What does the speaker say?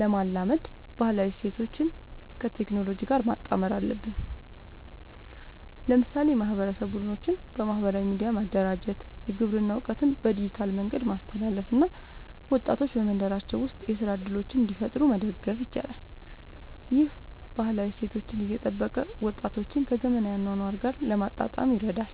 ለማላመድ ባህላዊ እሴቶችን ከቴክኖሎጂ ጋር ማጣመር አለብን። ለምሳሌ የማህበረሰብ ቡድኖችን በማህበራዊ ሚዲያ ማደራጀት፣ የግብርና እውቀትን በዲጂታል መንገድ ማስተላለፍ እና ወጣቶች በመንደራቸው ውስጥ የሥራ እድሎችን እንዲፈጥሩ መደገፍ ይቻላል። ይህ ባህላዊ እሴቶችን እየጠበቀ ወጣቶችን ከዘመናዊ አኗኗር ጋር ለማጣጣም ይረዳል።